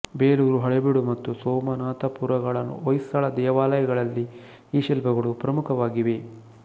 ಬೇಲೂರು ಹಳೇಬೀಡು ಮತ್ತು ಸೋಮನಾಥಪುರಗಳ ಹೊಯ್ಸಳ ದೇವಾಲಯಗಳಲ್ಲಿ ಈ ಶಿಲ್ಪಗಳು ಪ್ರಮುಖವಾಗಿವೆ